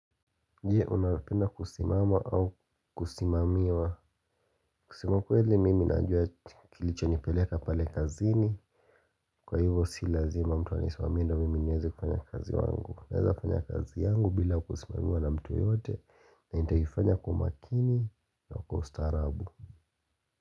Je, unapenda kusimama au kusimamiwa. Kusema ukweli mimi najua kilichonipeleka pale kazini. Kwa hivyo si lazima mtu anisimamie ndiyo mimi niwezi kufanya kazi yangu. Naweza fanya kazi yangu bila kusimamiwa na mtu yote. Na nitaifanya kwa umakini na kwa ustarabu.